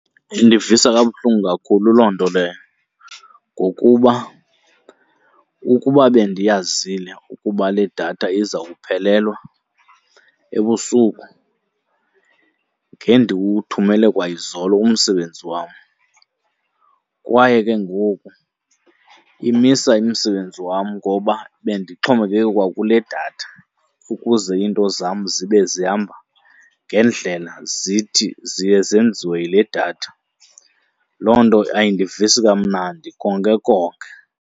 Indivisa kabuhlungu kakhulu loo nto leyo, ngokuba ukuba bendiyazile ukuba le datha izawuphelelwa ebusuku ngendiwuthumele kwayizolo umsebenzi wam. Kwaye ke ngoku imisa umsebenzi wam ngoba bendixhomekeke kwakule datha, ukuze iinto zam zibe zihamba ngendlela zithi ziye zenziwe yile datha. Loo nto ayindivisi kamnandi konke konke.